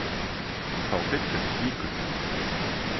Þá hryllir við slíku.